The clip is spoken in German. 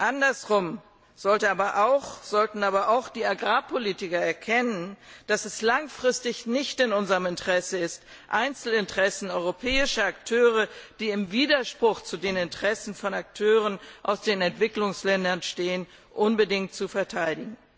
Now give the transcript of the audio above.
Andererseits sollten aber auch die Agrarpolitiker erkennen, dass es langfristig nicht in unserem Interesse ist, Einzelinteressen europäischer Akteure, die im Widerspruch zu den Interessen von Akteuren aus den Entwicklungsländern stehen, unbedingt zu verteidigen.